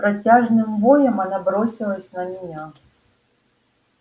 с протяжным воем она бросилась на меня